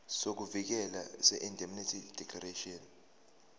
sokuvikeleka seindemnity declaration